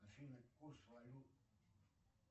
афина курс валют